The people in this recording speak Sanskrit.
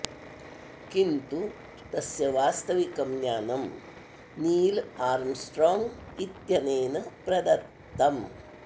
किन्तु तस्य वास्तविकं ज्ञानं नील् आर्म्स्ट्रॉङ्ग् इत्यनेन प्रदत्तम्